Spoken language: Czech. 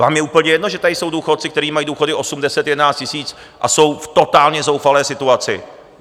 Vám je úplně jedno, že tady jsou důchodci, kteří mají důchody 8, 10, 11 tisíc a jsou v totálně zoufalé situaci.